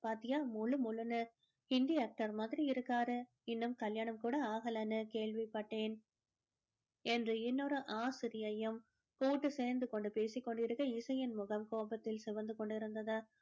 பாத்தியா மொழு மொழுன்னு ஹிந்தி actor மாதிரி இருக்காரு இன்னும் கல்யாணம் கூட ஆகலன்னு கேள்விபட்டேன் என்று இன்னொரு ஆசிரியையும் கூட்டு சேர்ந்து கொண்டு பேசி கொண்டிருக்க இசையின் முகம் கோபத்தில் சிவந்து கொண்டிருந்தது